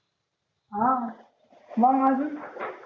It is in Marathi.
हा मंग अजून